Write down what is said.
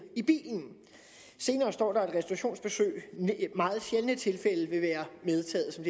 i bilen senere står der at restaurationsbesøg i meget sjældne tilfælde vil være medtaget som